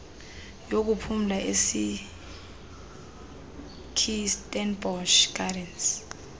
yokuphumla esekirstenbosch gardens